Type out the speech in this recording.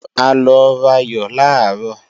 A lọ rayò làárọ̀